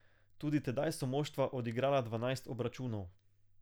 Tudi tedaj so moštva odigrala dvanajst obračunov.